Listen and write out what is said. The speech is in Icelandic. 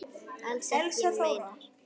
Alls ekki neinar.